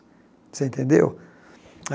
Você entendeu?